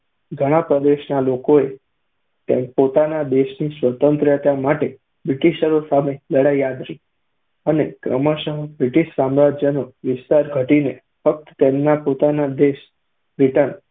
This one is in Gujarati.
ઘણાં પ્રદેશના લોકોએ પોતાના દેશની સ્વતંત્રતા માટે બ્રિટીશરો સામે લડાઈ આદરી અને ક્રમશઃ બ્રિટીશ સામ્રાજ્યનો વિસ્તાર ઘટીને ફક્ત તેમના પોતાના દેશ બ્રિટન